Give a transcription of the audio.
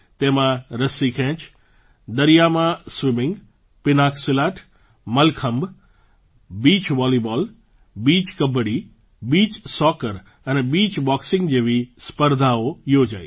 તેમાં રસ્સી ખેંચ દરિયામાં swimming pencak silat mallakhamb beach volleyball beach kabaddi beach soccer અને બીચ બૉક્સિંગ જેવી સ્પર્ધાઓ યોજાઈ